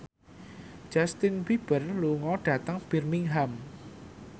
Justin Beiber lunga dhateng Birmingham